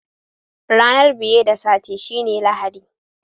Ranan biye da Sati shine Lahadi.